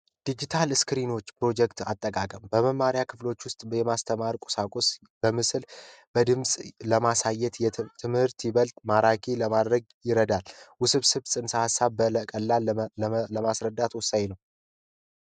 ዲጂታል ስክሪኖች ፕሮጀክተር አጠቃቀም በመማሪያ ክፍል ውስጥ የማስተማር ቁሳቁስ በምስል በድምጽ ለማሳየት ትምህርትን ይበልጥ ማራኪ ለማድረግ ይረዳል። ውስብስብ ንሰሃ ሃሳብን በቀላሉ ለማስረዳት ወሳኝ ነው።